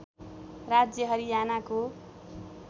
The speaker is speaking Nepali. राज्य हरियानाको